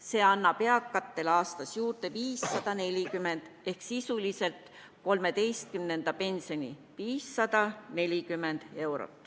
See annab eakatele aastas juurde 540 eurot ehk sisuliselt 13. pensioni.